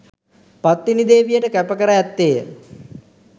පත්තිනි දේවියට කැප කර ඇත්තේය